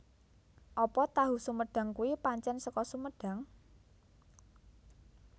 Apa tahu sumedang kui pancen seko Sumedang?